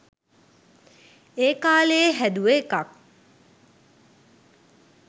ඒකාලේ හැදුව එකක්.